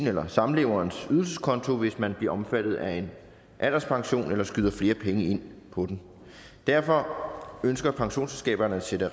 eller samleverens ydelseskonto hvis man bliver omfattet af en alderspension eller skyder flere penge ind på den derfor ønsker pensionsselskaberne at sætte